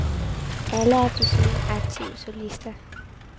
Alle er desuden aktive solister.